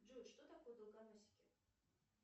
джой что такое долгоносики